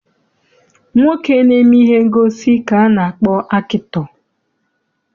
Nwoke na-eme ihe ngosi ka a na-akpọ akịtọ.